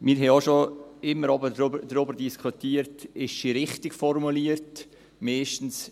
Wir haben auch schon immer darüber diskutiert, ob sie richtig formuliert ist.